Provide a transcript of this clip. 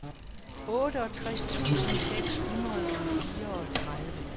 otteogtres tusind seks hundrede og fireogtredive